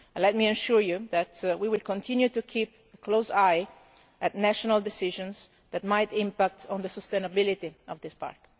Let me ensure you that we will continue to keep a close eye on national decisions that might impact on the sustainability of this park.